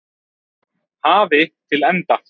hafi til enda.